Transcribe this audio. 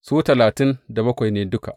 Su talatin da bakwai ne duka.